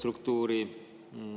Lugupeetud minister!